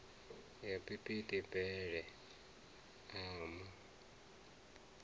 ya phiphiḓi bele a mu